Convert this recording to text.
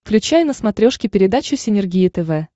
включай на смотрешке передачу синергия тв